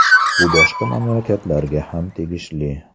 Bu boshqa mamlakatlarga ham tegishli.